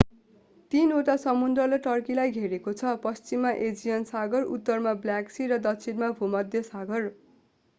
तीनवटा समुद्रले टर्कीलाई घेरेको छ पश्चिममा एजियन सागर उत्तरमा ब्ल्याक सी र दक्षिणमा भूमध्य सागर